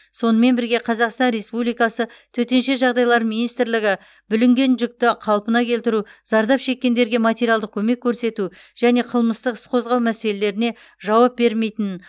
сонымен бірге қазақстан республикасы төтенше жағдайлар министрлігі бүлінген жүкті қалпына келтіру зардап шеккендерге материалдық көмек көрсету және қылмыстық іс қозғау мәселелеріне жауап бермейтінін